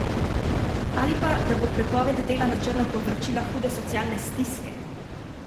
Ali pa, da bo prepoved dela na črno povzročila hude socialne stiske?